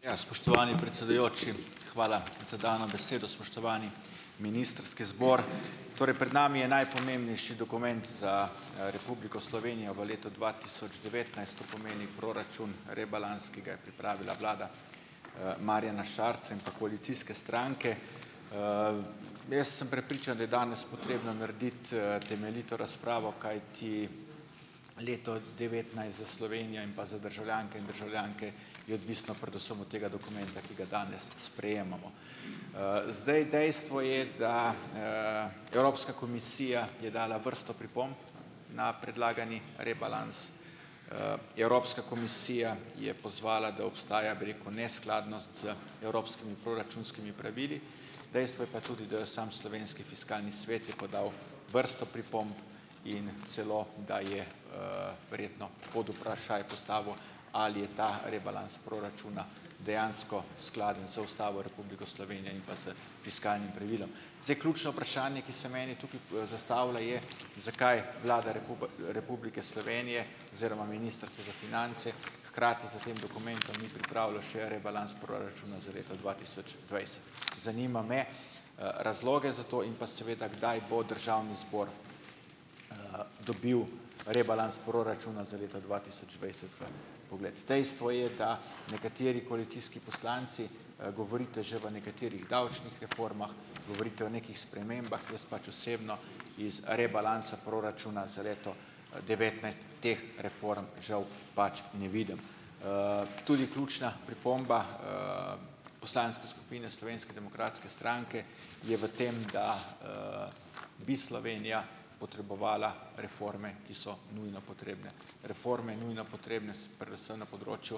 Ja, spoštovani predsedujoči, hvala za dano besedo. Spoštovani ministrski zbor! Torej, pred nami je najpomembnejši dokument za, Republiko Slovenijo v letu dva tisoč devetnajst, to pomeni proračun rebalans, ki ga je pripravila vlada, Marjana Šarca in pa koalicijske stranke. Jaz sem prepričan, da je danes potrebno narediti, temeljito razpravo, kajti leto devetnajst za Slovenijo in pa za državljanke in državljanke je odvisno predvsem od tega dokumenta, ki ga danes sprejemamo. zdaj, dejstvo je, da, Evropska komisija je dala vrsto pripomb na predlagani rebalans. Evropska komisija je pozvala, da obstaja, bi rekel, neskladnost z evropskimi proračunskimi pravili. Dejstvo je pa tudi, da je samo slovenski fiskalni svet je podal vrsto pripomb in celo da je, verjetno pod vprašaj postavil, ali je ta rebalans proračuna dejansko skladen z Ustavo Republike Slovenije in pa s fiskalnim pravilom. Zdaj, ključno vprašanje, ki se meni tukaj, zastavlja, je, zakaj Vlada Republike Slovenije oziroma Ministrstvo za finance hkrati s tem dokumentom ni pripravilo še rebalans proračuna za leto dva tisoč dvajset. Zanima me, razlog za to, in pa seveda, kdaj bo državni zbor, dobil rebalans proračuna za leto dva tisoč dvajset v vpogled. Dejstvo je, da nekateri koalicijski poslanci, govorite že o nekaterih davčnih reformah, govorite o nekih spremembah, jaz pač osebno iz rebalansa proračuna za leto, devetnajst teh reform, žal, pač ne vidim. Tudi ključna pripomba, poslanske skupine Slovenske demokratske stranke je v tem, da, bi Slovenija potrebovala reforme, ki so nujno potrebne, reforme nujno potrebne predvsem na področju,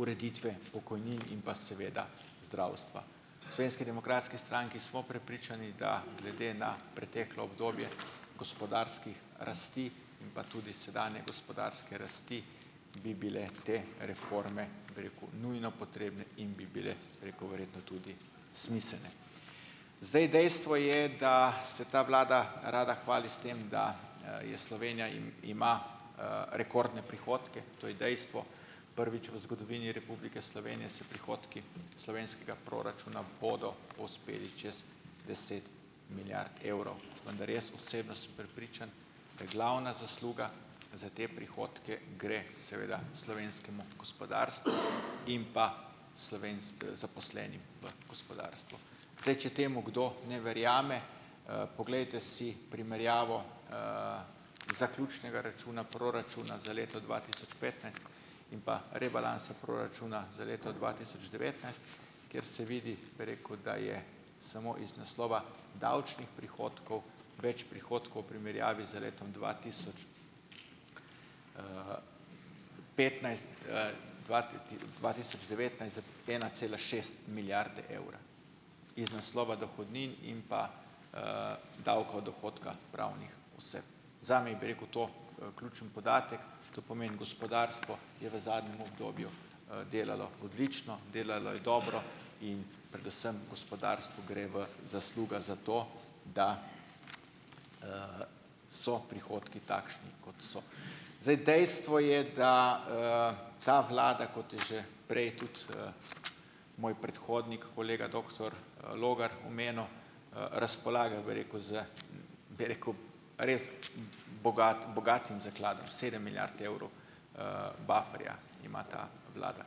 ureditve pokojnin in pa seveda zdravstva. V Slovenski demokratski stranki smo prepričani, da glede na preteklo obdobje gospodarskih rasti in pa tudi sedanje gospodarske rasti bi bile te reforme, bi rekel, nujno potrebne in bi bile, bi rekel, verjetno tudi smiselne. Zdaj, dejstvo je, da se ta vlada rada hvali s tem, da, je Slovenija ima, rekordne prihodke. To je dejstvo, prvič v zgodovini Republike Slovenije se prihodki slovenskega proračuna bodo povzpeli čez deset milijard evrov, vendar jaz osebno sem prepričan, da glavna zasluga za te prihodke gre seveda slovenskemu gospodarstvu in pa zaposlenim v gospodarstvu. Zdaj, če temu kdo ne verjame, poglejte si primerjavo, zaključnega računa proračuna za leto dva tisoč petnajst in pa rebalansa proračuna za leto dva tisoč devetnajst, kjer se vidi, bi rekel, da je samo iz naslova davčnih prihodkov več prihodkov v primerjavi z letom dva tisoč, petnajst, dva dva tisoč devetnajst z ena cela šest milijarde evra, iz naslova dohodnin in pa, davka od dohodka pravnih oseb. Zame je, bi rekel, to, ključen podatek. To pomeni, gospodarstvo je v zadnjem obdobju, delalo odlično, delalo je dobro in predvsem gospodarstvu gre v zasluga za to, da, so prihodki takšni, kot so. Zdaj dejstvo je, da, ta vlada, kot je že prej tudi, moj predhodnik, kolega doktor, Logar omenil, razpolaga, bi rekel, z, bi rekel, res bogatim zakladom, sedem milijard evrov, bufferja ima ta vlada.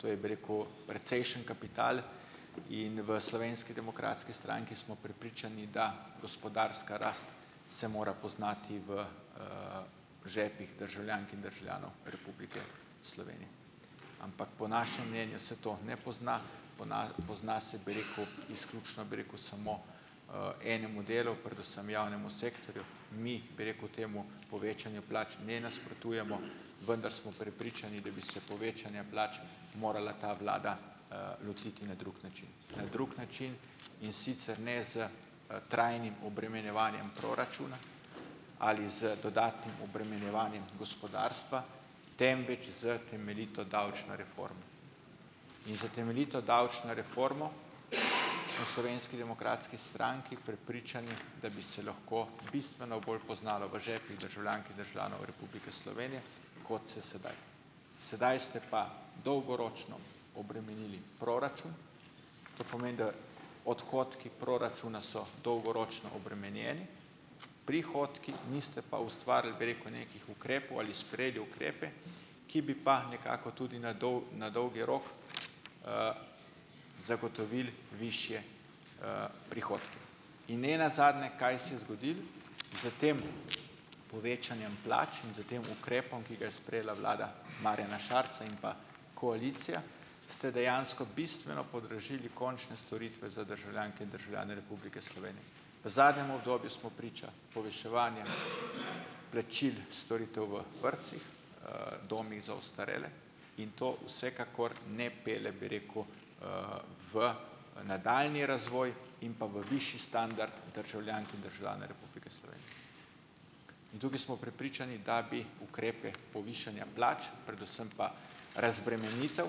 To je, bi rekel, precejšen kapital. In v Slovenski demokratski stranki smo prepričani, da gospodarska rast se mora poznati v, žepih državljank in državljanov Republike Slovenije, ampak po našem mnenju se to ne pozna, pozna se, bi rekel, izključno , bi rekel, samo, enemu delu, predvsem javnemu sektorju. Mi, bi rekel, temu povečanju plač ne nasprotujemo, vendar smo prepričani, da bi se povečanja plač morala ta vlada, lotiti na drug način, na drug način, in sicer ne s, trajnim obremenjevanjem proračuna ali z dodatnim obremenjevanjem gospodarstva, temveč z temeljito davčno reformo. In s temeljito davčno reformo smo Slovenski demokratski stranki prepričani, da bi se lahko bistveno bolj poznalo v žepih državljank in državljanov Republike Slovenije, kot se sedaj. Sedaj ste pa dolgoročno obremenili proračun, to pomeni, da odhodki proračuna so dolgoročno obremenjeni, prihodki, niste pa ustvarili, bi rekel, nekih ukrepov ali sprejeli ukrepe, ki bi pa nekako tudi na na dolgi rok, zagotovili višje, prihodke. In ne nazadnje, kaj se je zgodilo s tem povečanjem plač in s tem ukrepom, ki ga je sprejela vlada Marjana Šarca in pa koalicija. Ste dejansko bistveno podražili končne storitve za državljanke in državljane Republike Slovenije. V zadnjem obdobju smo priča poviševanja plačil storitev v vrtcih, domovih za ostarele in to vsekakor ne pelje, bi rekel, v nadaljnji razvoj in pa v višji standard državljank in državljanov Republike In tukaj smo prepričani, da bi ukrepe povišanja plač, predvsem pa razbremenitev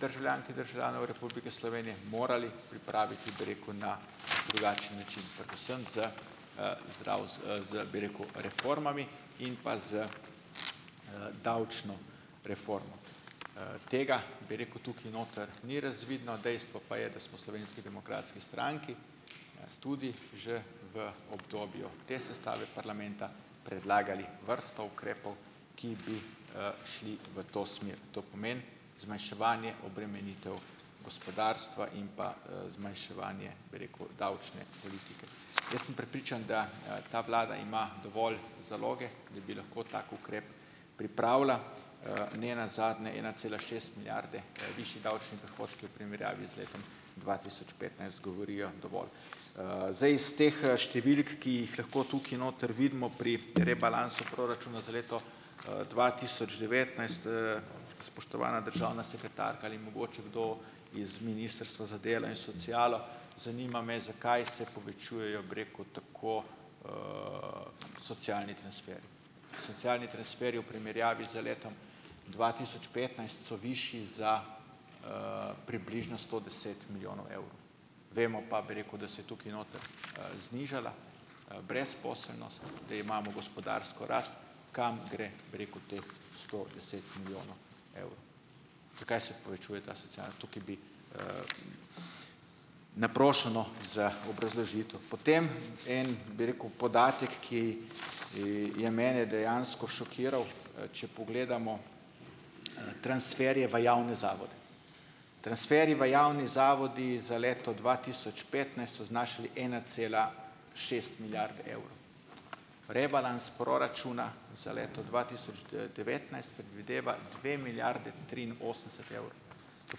državljank in državljanov Republike Slovenije, morali pripraviti, bi rekel, na drugačen način, predvsem z, z z z, bi rekel, reformami in pa z, davčno reformo. Tega, bi rekel, tukaj noter ni razvidno, dejstvo pa je, da smo Slovenski demokratski stranki tudi že v obdobju te sestave parlamenta predlagali vrsto ukrepov, ki bi, šli v to smer, to pomeni zmanjševanje obremenitev gospodarstva in pa, zmanjševanje, bi rekel, davčne politike. Jaz sem prepričan, da, ta vlada ima dovolj zaloge, da bi lahko tak ukrep pripravila. ne nazadnje ena cela šest milijarde, višji davčni prihodki v primerjavi z letom dva tisoč petnajst govorijo dovolj. Zdaj iz teh, številk, ki jih lahko tukaj noter vidimo pri rebalansu proračuna za leto, dva tisoč devetnajst, spoštovana državna sekretarka, ali mogoče kdo iz ministrstva za delo in socialo, zanima me, zakaj se povečujejo, bi rekel, tako, socialni transferji. Socialni transferji v primerjavi z letom dva tisoč petnajst so višji za, približno sto deset milijonov evrov. Vemo pa, bi rekel, da se je tukaj noter, znižala, brezposelnost, da imamo gospodarsko rast. Kam gre, bi rekel, teh sto deset milijonov evrov? Zakaj se povečuje ta sociala? Tukaj bi, naprošeno za obrazložitev. Potem en, bi rekel, podatek, ki, je mene dejansko šokiral, če pogledamo transferje v javne zavode. Transferji v javnih zavodih za leto dva tisoč petnajst so znašali ena cela šest milijard evrov. Rebalans proračuna za leto dva tisoč devetnajst predvideva dve milijardi triinosemdeset evrov. To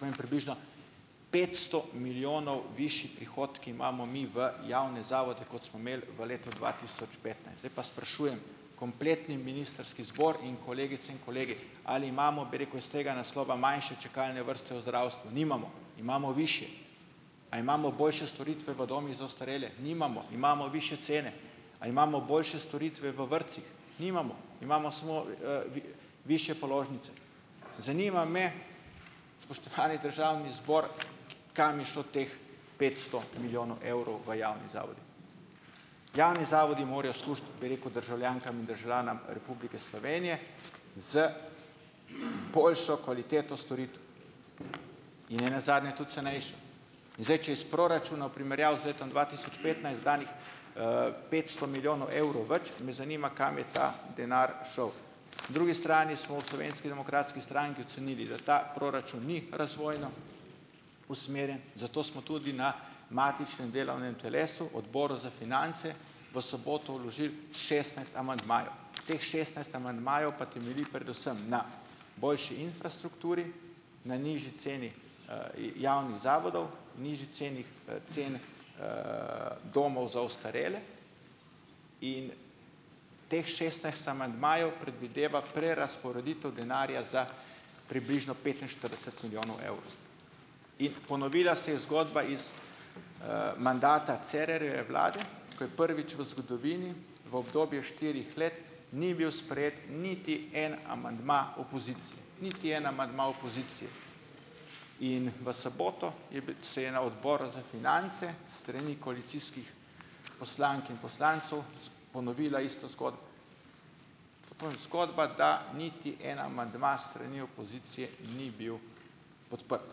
pomeni, približno petsto milijonov višje prihodke imamo mi v javne zavode, kot smo imeli v letu dva tisoč petnajst. Zdaj pa sprašujem kompletni ministrski zbor in kolegice in kolege, ali imamo, bi rekel, iz tega naslova manjše čakalne vrste v zdravstvu? Nimamo, imamo višje. A imamo boljše storitve v domovih za ostarele? Nimamo, imamo višje cene. A imamo boljše storitve v vrtcih? Nimamo. Imamo samo, višje položnice. Zanima me, spoštovani državni zbor, kam je šlo teh petsto milijonov evrov v javnih zavodih? Javni zavodi morajo služiti, bi rekel, državljankam in državljanom Republike Slovenije, z boljšo kvaliteto storitev in ne nazadnje tudi cenejšo. In zdaj če iz proračuna v primerjavi z letom dva tisoč petnajst izdanih, petsto milijonov evrov več, me zanima, kam je ta denar šel? drugi strani smo v Slovenski demokratski stranki ocenili, da ta proračun ni razvojno usmerjen, zato smo tudi na matičnem delovnem telesu, odboru za finance, v soboto vložili šestnajst amandmajev. Teh šestnajst amandmajev pa temelji predvsem na boljši infrastrukturi, na nižji ceni, javnih zavodov, nižji ceni, ceni, domov za ostarele in teh šestnajst amandmajev predvideva prerazporeditev denarja za približno petinštirideset milijonov evrov. In ponovila se je zgodba iz, mandata Cerarjeve vlade, ko je prvič v zgodovini, v obdobju štirih let, ni bil sprejet niti en amandma opozicije, niti en amandma opozicije. In v soboto, je se je na odboru za finance s strani koalicijskih poslank in poslancev, ponovila ista zgodba. Zgodba, da niti en amandma s strani opozicije ni bil podprt.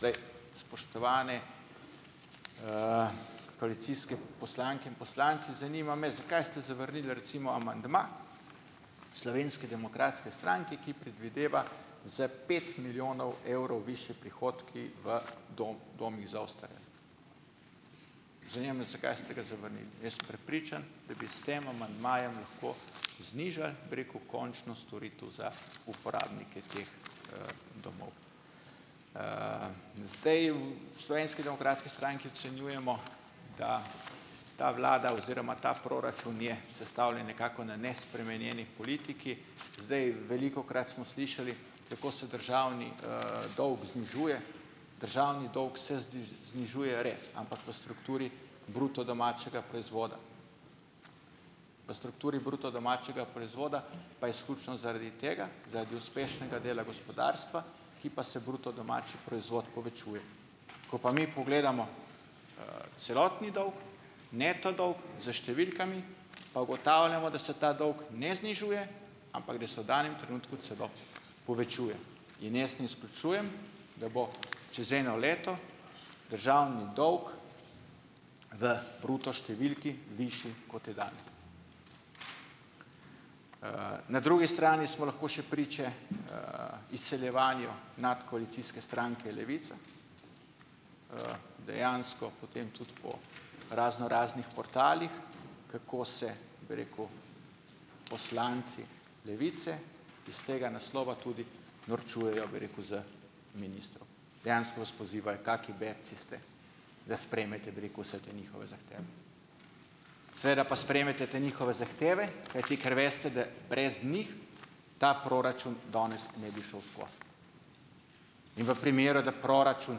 Zdaj, spoštovane, koalicijske poslanke in poslanci, zanima me, zakaj ste zavrnili recimo amandma Slovenske demokratske stranke, ki predvideva za pet milijonov evrov višje prihodke v domovih za ostarele? Zanima me, zakaj ste ga zavrnili? Jaz sem prepričan, da bi s tem amandmajem lahko znižali, bi rekel, končno storitev za uporabnike teh, domov. Zdaj, v Slovenski demokratski stranki ocenjujemo, da ta vlada oziroma ta proračun je sestavljen nekako na nespremenjeni politiki. Zdaj, velikokrat smo slišali, kako se državni, dolg znižuje. Državni dolg se znižuje res, ampak po strukturi bruto domačega proizvoda. V strukturi bruto domačega proizvoda pa izključno zaradi tega, zaradi uspešnega dela gospodarstva, ki pa se bruto domači proizvod povečuje. Ko pa mi pogledamo, celotni dolg, neto dolg, s številkami, pa ugotavljamo, da se ta dolg ne znižuje, ampak da se v danem trenutku celo povečuje. In jaz ne izključujem, da bo čez eno leto državni dolg v bruto številki višji, kot je danes. Na drugi strani smo lahko še priče, izsiljevanju nadkoalicijske stranke Levica. Dejansko potem tudi po raznoraznih portalih, kako se, bi rekel, poslanci Levice iz tega naslova tudi norčujejo, bi rekel, iz ministrov. Dejansko vas pozivajo, kaki bebci ste, da sprejmete, bi rekel, vse te njihove zahteve. Seveda pa sprejmete te njihove zahteve, kajti, ker veste, da brez njih ta proračun danes ne bi šel skozi. In v primeru, da proračun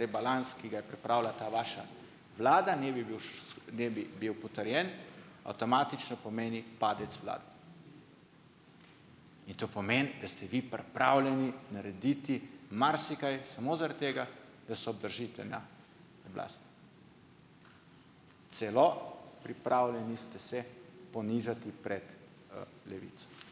rebalans, ki ga je pripravila ta vaša vlada, ne bi bil, ne bi bil potrjen, avtomatično pomeni padec vlade to pomeni, da ste vi pripravljeni narediti marsikaj, samo zaradi tega, da se obdržite na Celo pripravljeni ste se ponižati pred, Levico.